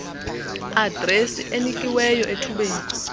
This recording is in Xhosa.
adresi enikiweyo ethubeni